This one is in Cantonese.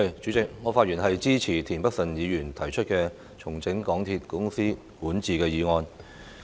主席，我發言支持田北辰議員提出"重整港鐵公司管治"的議案。